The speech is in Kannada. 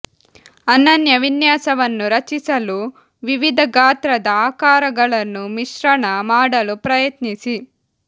ಅನನ್ಯ ವಿನ್ಯಾಸವನ್ನು ರಚಿಸಲು ವಿವಿಧ ಗಾತ್ರದ ಆಕಾರಗಳನ್ನು ಮಿಶ್ರಣ ಮಾಡಲು ಪ್ರಯತ್ನಿಸಿ